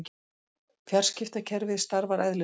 Fjarskiptakerfið starfar eðlilega